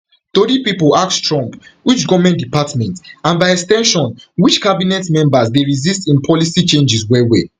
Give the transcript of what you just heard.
tori pipo ask trump which goment department and by ex ten sion which cabinet members dey resist im policy changes wellwell